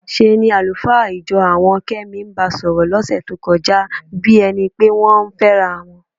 ṣe ni àlùfáà ìjọ àwọn Kẹ́mi ń ba sọ̀rọ̀ lọ́sẹ̀ tó kọjá bí ẹni pé wọ́n ń fẹ́ra wọn.